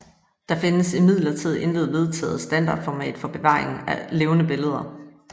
Der findes imidlertid intet vedtaget standardformat for bevaring af levende billeder